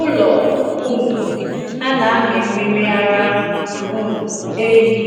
Ụlọ um a na-amị mmiri ara um ehi